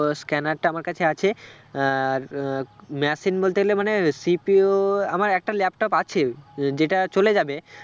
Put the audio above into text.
Scanner টা আমার কাছে আছে আর আহ machine বলতে গেলে মানে CPU আমার একটা laptop আছে আহ যেটা চলে যাবে